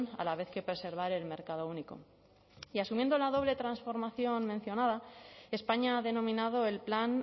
a la vez que preservar el mercado único y asumiendo la doble transformación mencionada españa ha denominado el plan